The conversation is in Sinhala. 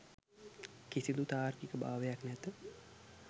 කිසිදු තාර්කික භාවයක් නැත